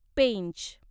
Pench